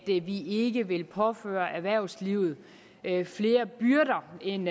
vi vi ikke vil påføre erhvervslivet flere byrder end